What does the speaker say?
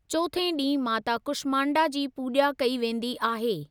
चौथे डीं॒हं माता कुष्मांडा जी पूजा॒ कई वेंदी आहे।